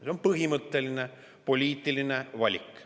See on põhimõtteline poliitiline valik.